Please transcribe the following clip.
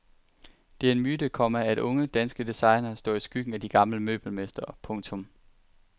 Det er en myte, komma at unge danske designere står i skyggen af de gamle møbelmestre. punktum